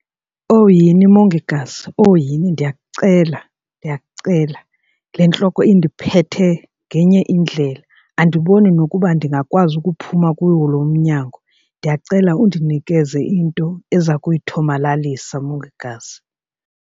Owu yhini mongikazi, owo yhini ndiyakucela ndiyakucela le ntloko indiphethe ngenye indlela. Andiboni nokuba ndingakwazi ukuphuma kuwo loo umnyango. Ndiyakucela undinikeze into ezokuyithomalalisa, mongikazi.